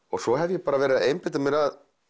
svo hef ég verið að einbeita mér að